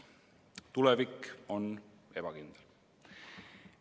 Tulevik on ebakindel.